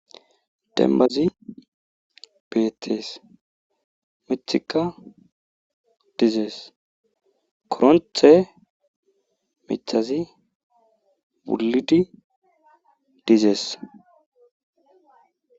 Dembbazi beetees. miththikka dizees.koronthe miththazi wulidi dizees.